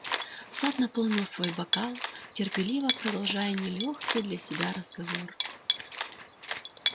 сатт наполнил свой бокал терпеливо продолжая нелёгкий для себя разговор